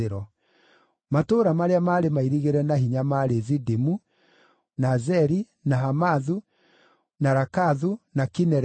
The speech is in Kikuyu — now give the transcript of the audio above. Matũũra marĩa maarĩ mairigĩre na hinya maarĩ Zidimu, na Zeri, na Hamathu, na Rakathu, na Kinerethu,